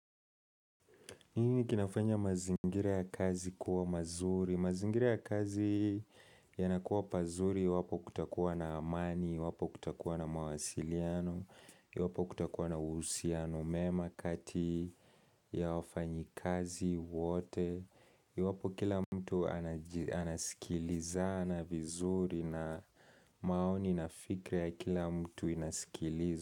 Nini kinafanya mazingira ya kazi kuwa mazuri, mazingira ya kazi yanakuwa pazuri iwapo kutakuwa na amani, iwapo kutakuwa na mawasiliano, iwapo kutakuwa na uhusiano, mema kati ya wafanyi kazi wote, iwapo kila mtu anasikilizana vizuri na maoni na fikra ya kila mtu inasikilizwa.